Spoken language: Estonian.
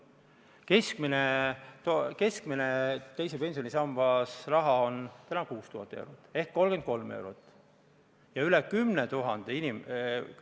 Keskmine teises pensionisambas olev summa on täna 6000 eurot, mis tähendab kuus lisa 33 eurot.